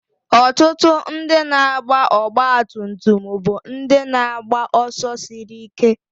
Ọtụtụ ndị na-agba ọgbatumtum bụ ndị na-agba ọsọ siri ike